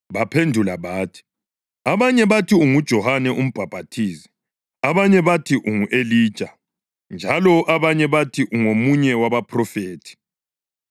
Baphendula bathi, “Abanye bathi unguJohane uMbhaphathizi; abanye bathi ungu-Elija; njalo abanye bathi ungomunye wabaphrofethi.”